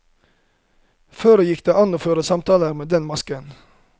For det gikk an å føre samtaler med den masken.